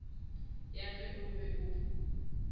ya ge o be o